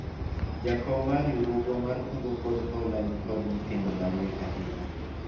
jakom mar riwruogwa mar kungo kod hola nikod nyithindo mariek ahinya